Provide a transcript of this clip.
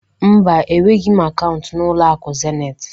Mba, enweghị m akaụntụ na ụlọ akụ Zenit